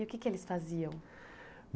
E o que que eles faziam?